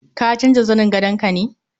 Ka canja zanin gadon ka ne?